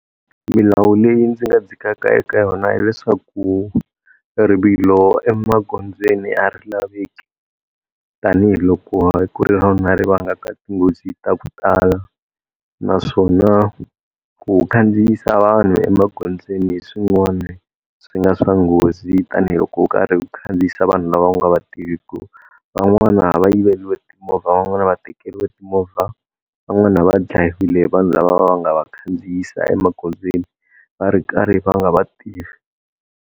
Milawu leyi ndzi nga dzikaka eka yona hileswaku rivilo emagondzweni a ri laveki. Tanihi loko ku ri rona ri vangaka tinghozi ta ku tala, naswona ku khandziyisa vanhu emagondzweni hi swin'wana swi nga swa nghozi tanihiloko u karhi khandziyisa vanhu lava u nga va tiviku. Va n'wana va yiveriwa timovha, van'wana va tekeriwe timovha, van'wana va dlayiwile hi vanhu lava va nga va khandziyisa emagondzweni va ri karhi va nga va tivi.